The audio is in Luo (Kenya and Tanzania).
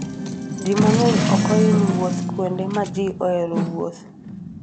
Ji mang'eny ok hiny wuotho kuonde ma ji oheroe wuoth.